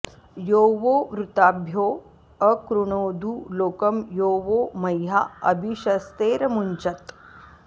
यो वो॑ वृ॒ताभ्यो॒ अकृ॑णोदु लो॒कं यो वो॑ म॒ह्या अ॒भिश॑स्ते॒रमु॑ञ्चत्